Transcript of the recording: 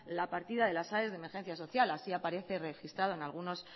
la partida de las aes de emergencia social así aparece registrada en algunos